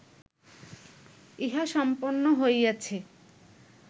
ইহা সম্পন্ন হইয়াছে